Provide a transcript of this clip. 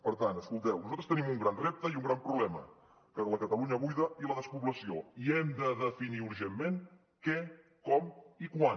per tant escolteu nosaltres tenim un gran repte i un gran problema la catalunya buida i la despoblació i hem de definir urgentment què com i quan